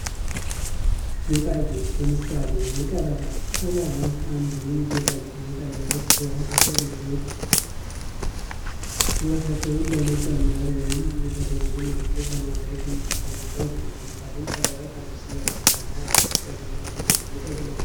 ጌጣጌጥ ለምሳሌ ፦ቀለበት ቀለበት፦ አንዱ የጌጣጌጥ አይነት ሲሆን የሰው ልጆች ውበታቸውን ለመጨመር ወይም የተለየ ምልክት ለማድረግ የሚጠቀሙበት ነው። ለምሳሌ ቀለበት አንድ ሰው ያገባ እና ያላገባ የሚለውን ለመለየት ያገለግላል።